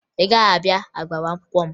Ị gaghị abịa n'agbamakwụkwọ m